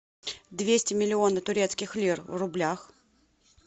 двести миллионов турецких лир в рублях